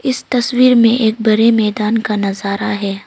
इस तस्वीर में एक बरे मैदान का नजारा है।